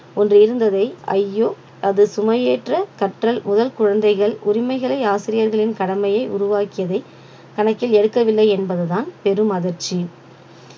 ஒன்று இருந்ததை ஐயோ அது சுமையேற்ற கற்றல் முதல் குழந்தைகள் உரிமைகளை ஆசிரியர்களின் கடமையை உருவாக்கியதை கணக்கில் எடுக்கவில்லை என்பதுதான் பெரும் அதிர்ச்சி